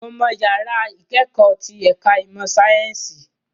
Mo mọ àwọn yàrá ìkẹ́kọ̀ọ́ tí ẹ̀ka ìmọ̀ ẹ̀kọ́ sáyẹ́ǹsì